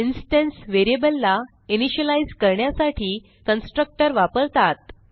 instance variable ला initialise करण्यासाठी constructor वापरतात